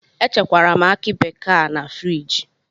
Echekwara m akị bekee a na friji.